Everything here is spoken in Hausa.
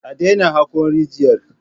A daina hako rigiyar!